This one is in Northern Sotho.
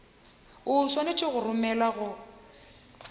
o swanetše go romelwa go